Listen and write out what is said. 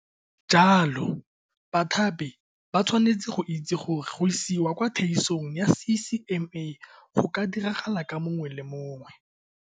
Jalo bathapi ba tshwanetse go itse gore go isiwa kwa theetsong ya CCMA go ka diragala ka mongwe le mongwe.